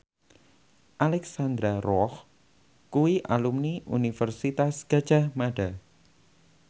Alexandra Roach kuwi alumni Universitas Gadjah Mada